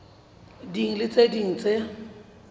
ding le tse ding tse